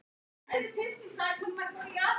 Rósa: Þær eru sem sagt að breytast?